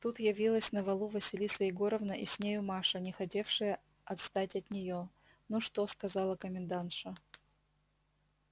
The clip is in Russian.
тут явилась на валу василиса егоровна и с нею маша не хотевшая отстать от неё ну что сказала комендантша